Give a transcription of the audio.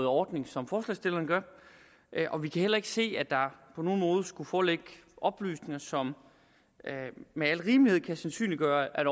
ordning som forslagsstillerne gør og vi kan heller ikke se at der på nogen måde skulle foreligge oplysninger som med al rimelighed kan sandsynliggøre at